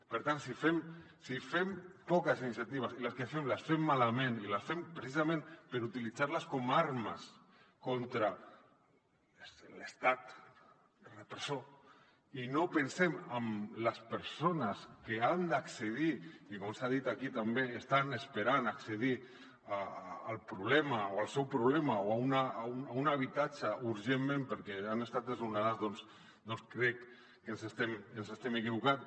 per tant si fem poques iniciatives i les que fem les fem malament i les fem pre·cisament per utilitzar·les com a armes contra l’estat repressor i no pensem en les persones que han d’accedir que com s’ha dit aquí també estan esperant a accedir el problema o el seu problema a un habitatge urgentment perquè han estat desno·nades doncs crec que ens estem equivocant